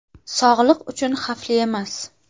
Sog‘liq uchun xavfli emas.